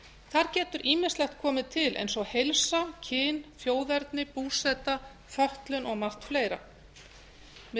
þar getur ýmislegt komið til eins og heilsa kyn þjóðerni búseta fötlun og margt fleira mig